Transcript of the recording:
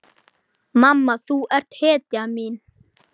Mamma þú ert hetjan mín.